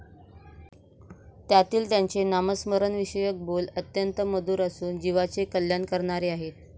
त्यातील त्यांचे नामस्मरणाविषयक बोल अत्यंत मधुर असून जीवाचे कल्याण करणारे आहेत.